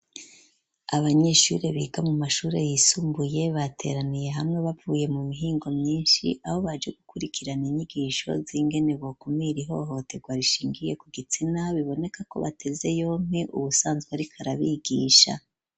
Abanyeshuri biga mu mashure yisumbuye bateraniye hamwe bavuye mu mihingo myishi aho baje gukurikirana inyigisho z'ingene bo kumira ihohoterwa rishingiye ku gitsina biboneka ko bateze yompi uwusanzwe ariko arabigisha.